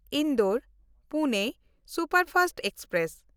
ᱤᱱᱫᱳᱨ-ᱯᱩᱱᱮ superfast express